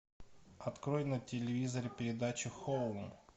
открой на телевизоре передачу хоум